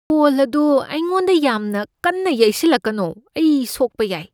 ꯕꯣꯜ ꯑꯗꯨ ꯑꯩꯉꯣꯟꯗ ꯌꯥꯝꯅ ꯀꯟꯅ ꯌꯩꯁꯤꯜꯂꯛꯀꯅꯣ꯫ ꯑꯩ ꯁꯣꯛꯄ ꯌꯥꯏ ꯫